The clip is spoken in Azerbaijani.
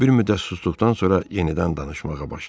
O bir müddət susduqdan sonra yenidən danışmağa başladı.